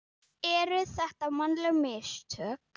Eru þetta mannleg mistök?